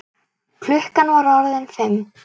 Klukkan var orðin fimm.